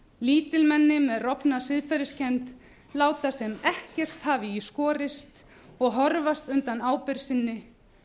lítilmenni með rofna siðferðiskennd láta sem ekkert hafi í skorist og horfast undan ábyrgð sinni